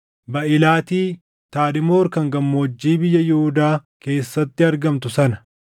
Baaʼilaati, Tadmoor kan gammoojjii biyya Yihuudaa keessatti argamtu sana,